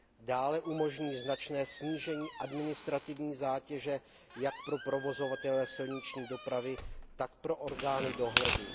Dále umožní značné snížení administrativní zátěže jak pro provozovatele silniční dopravy, tak pro orgány dohledu.